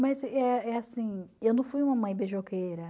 Mas eh eh assim, eu não fui uma mãe beijoqueira.